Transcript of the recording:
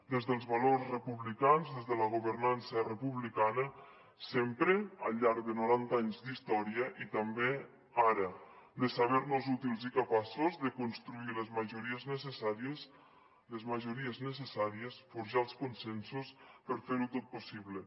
des dels valors republicans des de la governança republicana sempre al llarg de noranta anys d’història i també ara de saber nos útils i capaços de construir les majories necessàries forjar els consensos per fer ho tot possible